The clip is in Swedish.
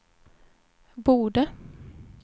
borde